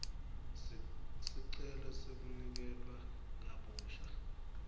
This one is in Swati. sicelo sekuniketwa kabusha